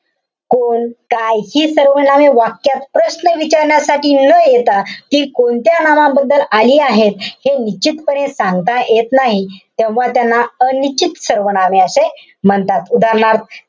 कोण, काय हि सर्वनामे वाक्यात प्रश्न विचारण्यासाठी न येता हि कोणत्या नामाबद्दल आली आहेत. हे निश्चितपणे सांगता येत नाही. तेव्हा त्यांना अनिश्चित सर्वनामे असे म्हणतात. उदाहरणार्थ,